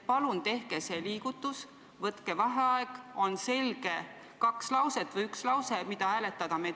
Palun tehke see liigutus, võtke vaheaeg, et oleks selge üks lause või selged kaks lauset, mida hääletada!